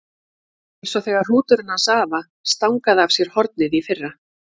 Eins og þegar hrúturinn hans afa stangaði af sér hornið í fyrra.